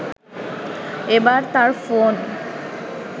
এবার তার ফোন